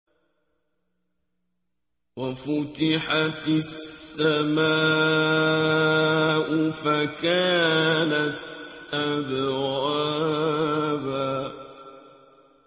وَفُتِحَتِ السَّمَاءُ فَكَانَتْ أَبْوَابًا